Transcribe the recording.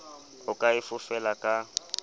o ka e fofela ka